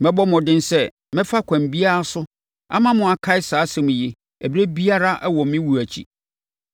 Mɛbɔ mmɔden sɛ mɛfa ɛkwan biara so ama mo akae saa nsɛm yi ɛberɛ biara wɔ me wuo akyi.